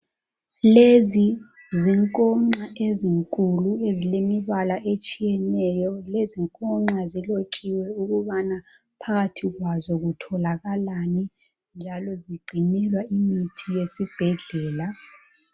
Lezi zinkonxa ezinkulu ezilembala etshiyeneyo. Lezinkonxa zilotshiwe ukubana phakathi kwazo kutholakani njalo zigcinelwa imithi yesibhedlala